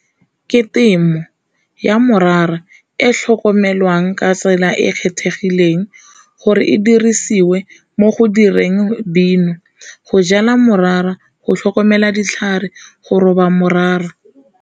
Ke temo ya morara e tlhokomelwang ka tsela e e kgethegileng gore e dirisiwe mo go direng Dino, go jala morara go tlhokomela ditlhare go roba morara.